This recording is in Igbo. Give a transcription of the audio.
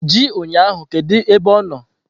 Ji ụnyahụ kedu ebe ọ nọ!